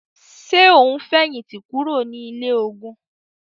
Ṣe o n fẹhinti kuro ni ile-ogun?